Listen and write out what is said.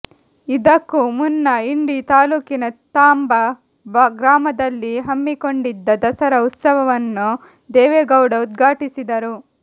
ಇದಕ್ಕೂ ಮುನ್ನ ಇಂಡಿ ತಾಲೂಕಿನ ತಾಂಬಾ ಗ್ರಾಮದಲ್ಲಿ ಹಮ್ಮಿಕೊಂಡಿದ್ದ ದಸರಾ ಉತ್ಸವವನ್ನು ದೇವೇಗೌಡ ಉದ್ಘಾಟಿಸಿದರು